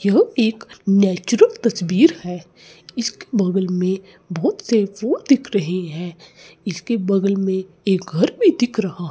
यह एक नेचुरल तस्वीर है इसके बगल में बहोत से फूल दिख रहे है इसके बगल में एक घर भी दिख रहा --